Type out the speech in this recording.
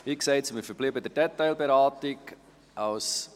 Wie gesagt: Wir sind in der Detailberatung stehen geblieben.